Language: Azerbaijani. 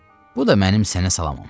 Bu da mənim sənə salamım.